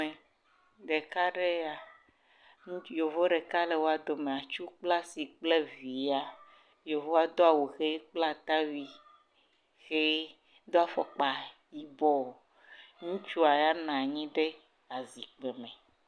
me ɖeka ɖɛ ya yovu ɖeka le wóa dome atsu kple asi kple via wó do awu hɛ kple atakpi hɛ dó afɔkpa yibɔ ŋutsua ya nɔnyi ɖe zikpi me